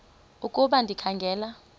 ukuba ndikha ngela